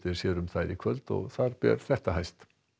sér um þær í kvöld og þar ber þetta hæst